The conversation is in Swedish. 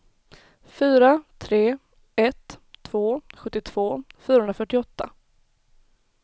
fyra tre ett två sjuttiotvå fyrahundrafyrtioåtta